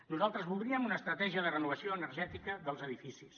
nosaltres voldríem una estratègia de renovació energètica dels edificis